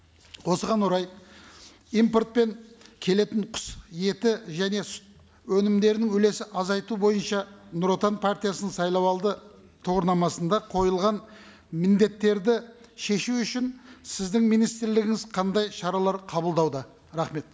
осыған орай импортпен келетін құс еті және сүт өнімдерінің үлесі азайту бойынша нұр отан партиясының сайлау алды тұғырнамасында қойылған міндеттерді шешу үшін сіздің министрлігіңіз қандай шаралар қабылдауда рахмет